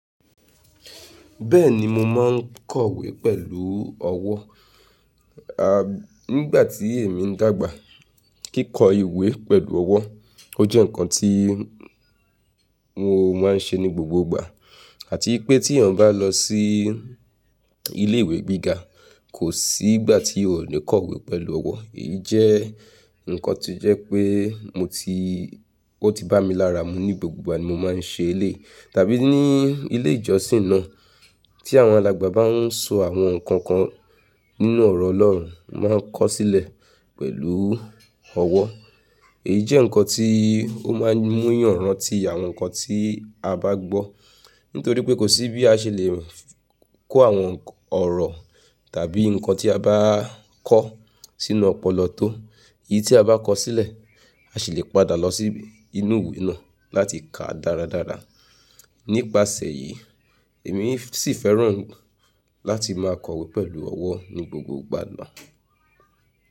Bẹ́ẹ̀ni mo máa ń kọ̀wé pẹ̀lú ọwọ́, a nígbà tí èmi ń dàgbà kíkọ ìwé pẹ̀lú ọwọ́ ó jẹ́ ǹnkan tí mo máa ń ṣe ní gbogbo ìgbà, àti pé tí èèyàn bá lọ sí ilé ìwé gíga kò sí ìgbà tí yóò ò ní kọ̀wé pẹ̀lú ọwọ́, èyí jẹ́ ǹnkan tó jẹ́ pé mo ti ó ti bá mi lára mu ní gbogbo ìgbà mi mo máa ń ṣe eleyii, tàbí ní ilé ìjọsìn náà tí àwọn alàgbà bá ń sọ àwọn ǹnkan kan nínú ọ̀rọ̀ Ọlọ́run máa ń kọ sílẹ̀ pẹ̀lú ọwọ́, èyí jẹ́ ǹnkan tí ó máa ń mú eyan ranti àwọn ǹnkan tí a bá gbọ́ nítorí pé kò sí bí a ṣe lè kọ àwọn ọ̀rọ̀ tàbí nǹkan tí a bá kọ sínú ọpọlọ tó, èyí tí a bá kọ sílẹ̀ a sì lè padà lọ sí inú ìwé náà láti kàá dáradára. Nípasẹ̀ èyí èmi sì fẹ́ràn láti máa kọ̀wé pẹ̀lú ọwọ́ ní gbogbo ìgbà náà.